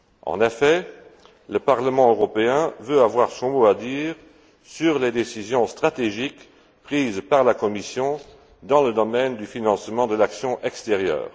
En effet, le Parlement européen veut avoir son mot à dire sur les décisions stratégiques prises par la Commission dans le domaine du financement de l'action extérieure.